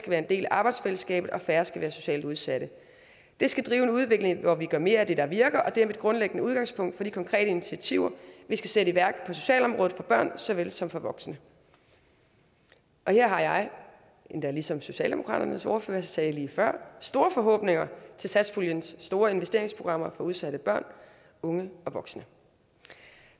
være en del af arbejdsfællesskabet og at færre skal være socialt udsatte det skal drive en udvikling hvor vi gør mere af det der virker og det er mit grundlæggende udgangspunkt for de konkrete initiativer vi skal sætte i værk på socialområdet for børn såvel som for voksne og her har jeg endda ligesom socialdemokratiets ordfører sagde det lige før store forhåbninger til satspuljens store investeringsprogrammer for udsatte børn unge og voksne